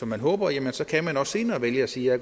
man håber jamen så kan man også senere vælge at sige at